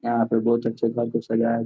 यहाँ पे बोहत अच्चे घर को सजाया --